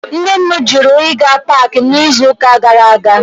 Nne m jụrụ ịga paakị n'izuụka gara aga